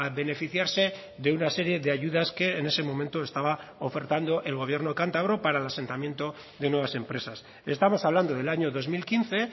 beneficiarse de una serie de ayudas que en ese momento estaba ofertando el gobierno cántabro para el asentamiento de nuevas empresas estamos hablando del año dos mil quince